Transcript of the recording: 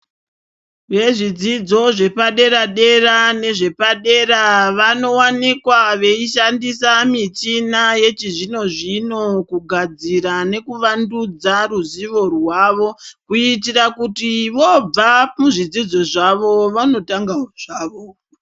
Vezvidzodzo zvepadera-dera nezvepadera vanovanikwa vechishandisa michina yechi zvino-zvino, kugadzira nekuvandudza ruzivo rwavo. Kuitira kuti vobva kuzvidzidzo zvavo vanotangavo zvavo.